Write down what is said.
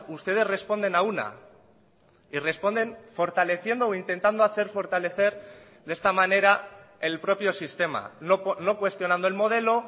ustedes responden a una y responden fortaleciendo o intentando hacer fortalecer de esta manera el propio sistema no cuestionando el modelo